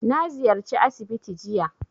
Na ziyarci asibiti jiya